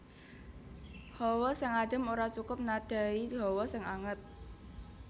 Hawa sing adem ora cukup nadhahi hawa sing anget